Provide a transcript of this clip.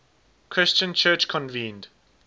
christian church convened